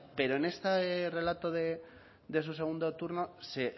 pero en este relato de su segundo turno se